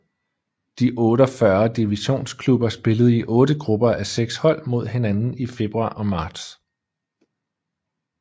De 48 divisionsklubber spillede i otte grupper a seks hold mod hinanden i februar og marts